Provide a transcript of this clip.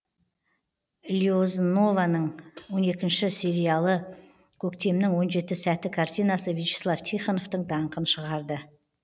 лиознованың он екінші сериялы көктемнің он жеті сәті картинасы вячеслав тихоновтың даңқын шығарды